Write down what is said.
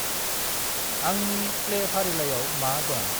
आंनि प्लैफारिलाइआव मा दं?